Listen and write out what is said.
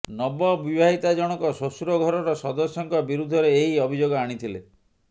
ନବବିବାହିତା ଜଣକ ଶ୍ୱଶୁରଘରର ସଦସ୍ୟଙ୍କ ବିରୁଦ୍ଧରେ ଏହି ଅଭିଯୋଗ ଆଣିଥିଲେ